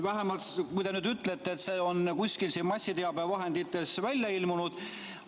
Vähemalt, kui te nüüd ütlete, et see on kuskil siin massiteabevahendites välja ilmunud.